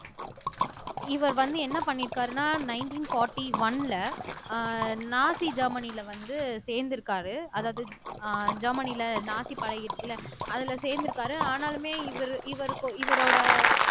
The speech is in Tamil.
இவர் வந்து என்ன பண்ணியிருக்காருன்னா நைன்டீன் போர்ட்டி ஒன்ல அஹ் நாசி ஜெர்மனில வந்து சேர்ந்திருக்காரு அதாவது அஹ் ஜெர்மனில நாசி பழகிருச்சு இல்ல அதுல சேர்ந்திருக்க அதுல சேர்ந்திருக்காரு ஆனாலுமே இவரு இவரு இவரோட